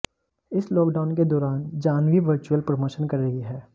इस लॉकडाउन के दौरान जाह्नवी वर्चुअल प्रमोशन कर रही हैं